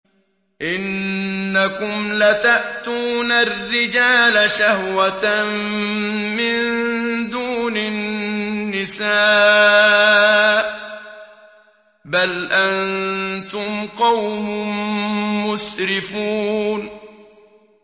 إِنَّكُمْ لَتَأْتُونَ الرِّجَالَ شَهْوَةً مِّن دُونِ النِّسَاءِ ۚ بَلْ أَنتُمْ قَوْمٌ مُّسْرِفُونَ